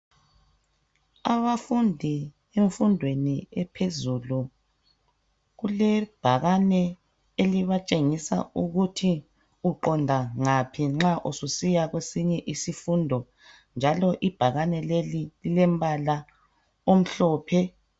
Abafundi bemfundweni ephuzulu kule bhakane elibatshengisa ukuthi uqonda ngaphi nxa ususiya kwesinye isifundo, njalo ibhakani leli lilembala omhlophe.